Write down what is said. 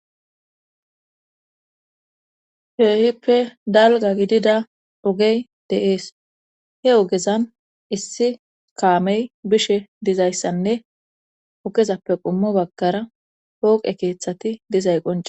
Keehippe dalga gidida ogey de'ees he ogezan issi kaamey bishe dizayssanne ogezappe qommo baggara pooqe keeththati dizay qoncekko